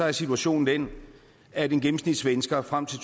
at situationen er den at en gennemsnitssvensker frem til